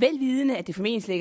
vel vidende at det formentlig